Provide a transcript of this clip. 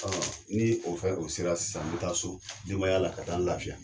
Ni o fɛn o sera sisan n bɛ taa so dibayaya la ka taa n lafiya.